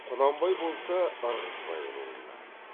құнанбай болса ырғызбай руынан